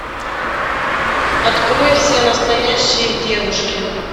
открой все настоящие девушки